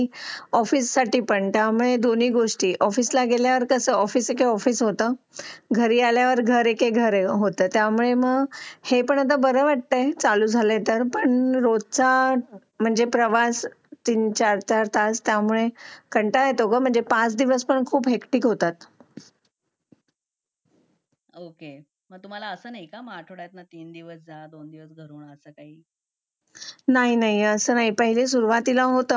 चार चार तास काम म्हणजे कंटाळा येतो गं म्हणजे पाच दिवस खूप निश्चित होतात ओके मग तुम्हाला असं नाही का की आठवड्यातून तीन दिवस जा दोन दिवस जा असं काही नाही नाही असं नाही पहिले सुरुवातीला होतं